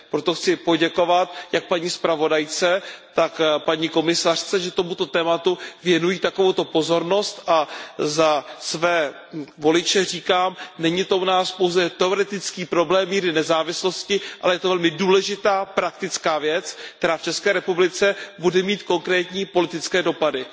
Proto chci poděkovat jak paní zpravodajce, tak paní komisařce, že tomuto tématu věnují takovouto pozornost, a za své voliče říkám, není to u nás pouze teoretický problém míry nezávislosti, ale je to velmi důležitá praktická věc, která v České republice bude mít konkrétní politické dopady.